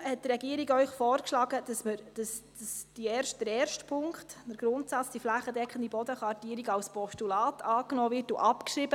Deshalb hat die Regierung Ihnen vorgeschlagen, den ersten Punkt, den Grundsatz der flächendeckenden Bodenkartierung, als Postulat anzunehmen und abzuschreiben.